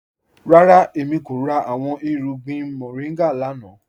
Rárá, èmi kò rà awọn irùgbìn moringa lánà.